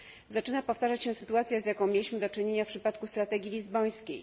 Zaczyna powtarzać się sytuacja, z jaką mieliśmy do czynienia w przypadku strategii lizbońskiej.